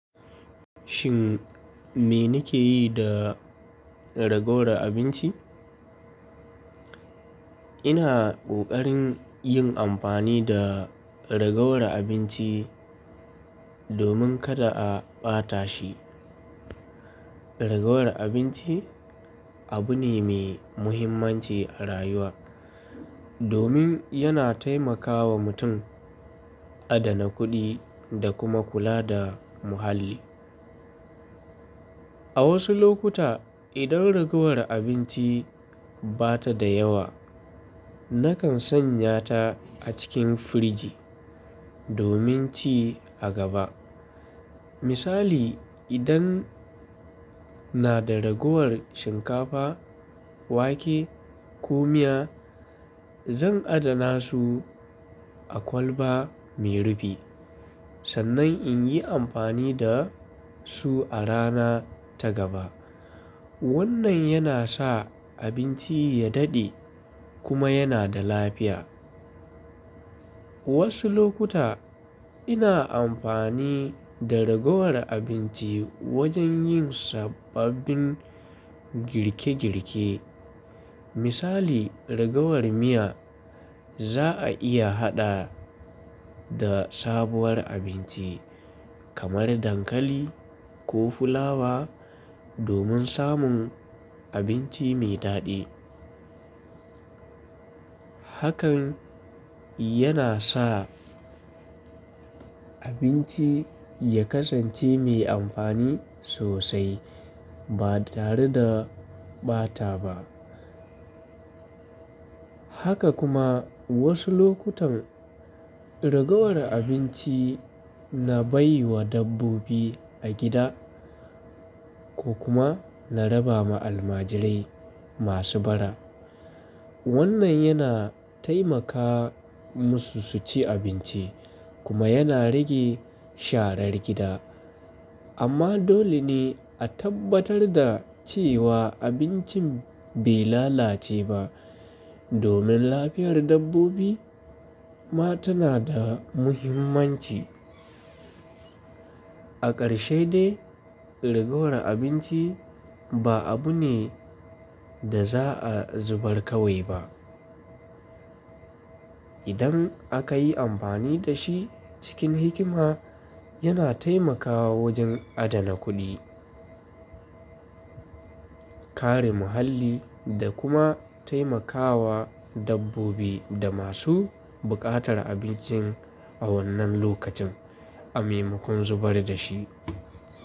Shin me nake yi da ragowar abinci? Ina kokarin yin amfani da ragowar abinci domin kada a bata shi. Ragowar abinci abu ne mai muhimmanci a rayuwa, domin yana taimakawa mutum adana kuɗi da kuma kula da muhalli. A wasu lokuta, idan ragowar abinci ba ta da yawa, nakan sanya ta a cikin firiji domin ci a gaba. Misali, idan nada ragowar shinkafa, wake, ko miya, zan adana su a kwalba mai rufi sannan in yi amfani da su a rana ta gaba. Wannan yana sa abinci ya daɗe kuma yana da lafiya. Wasu lokuta ina amfani da ragowar abinci wajen yin sababbin girke-girke. Misali, ragowar miya za'a iya haɗa da sabuwar abinci kamar dankali ko fulawa domin samun abinci mai daɗi. Hakan yana sa abinci ya kasance mai amfani sosai ba tare da bata ba. Haka kuma wasu lokutan ragowar abinci na bai wa dabbobi a gida ko kuma na raba ma almajirai masu bara. Wannan yana taimaka musu su ci abinci kuma yana rage sharar gida. Amma dole ne a tabbatar da cewa abincin bai lalace ba, domin lafiyar dabbobi ma tana da muhimmanci. A ƙarshe dai, ragowar abinci ba abu ne da za'a zubar kawai ba. Idan aka yi amfani da shi cikin hikima, yana taimakawa wajen adana kuɗi, kare muhalli da kuma taimakawa dabbobi da masu buƙatar abinci a wannan lokacin a maimakon zubar da shi.